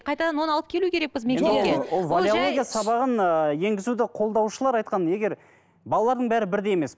қайтадан оны алып келу керекпіз мектепке валеология сабағын ыыы енгізуді қолдаушылар айтқан егер балалардың бәрі бірдей емес